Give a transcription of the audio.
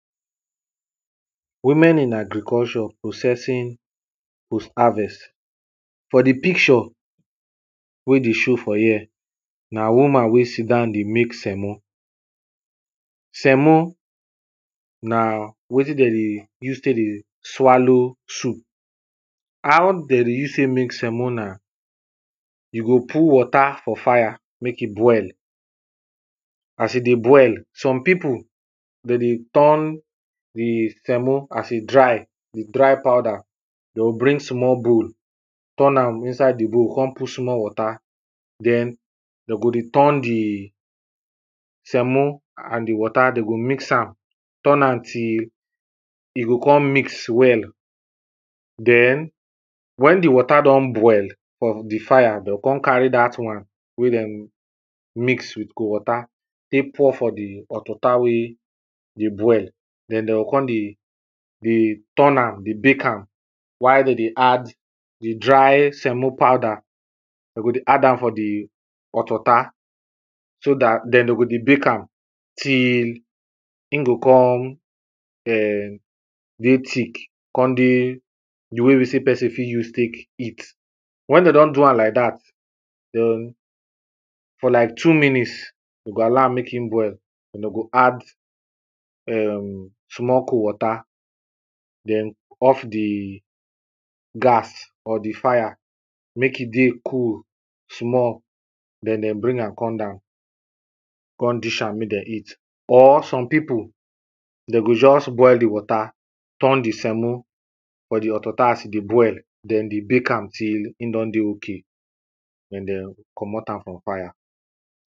women in agriculture, processing post-harvest, for di picture wey dey show for here, na woman wey sit down dey make semo. semo na wetin dem dey use take dey swallow soup, how dem dey use make semo na, you go put water for fire make e boil, as e dey boil some people dem dey turn di semo, as e dry di dry powder, dem go bring small bowl turn am inside di bowl come put small water, den dem go dey turn di semo and di water dem go mix am, turn am till e go come mix well. den wen di water don boil for di fire, dem go come carry dat one wen dem mix with cold water take pour for di hot water wen dey boil den dem go come dey dey turn am, dey bake am, while dem dey add di dry semo powder, dem go dey add am for di hot water, so dat den dem go dey bake am till im go come um dey tick, come dey di way wey e be sey person fit take eat. wen dem don do am like dat, den for like two minute, dem go allow am make im boil den dem go add um small cold water, den off di gas or di fire make e dey cold small, den dem bring am come down, come dish am make dem eat. or some people, dem go just boil di water, turn di semo for di hot water as e dey boil, den dey bake am till in don dey okay, den dem go komot am for fire